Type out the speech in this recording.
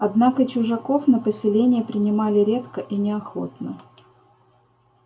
однако чужаков на поселение принимали редко и неохотно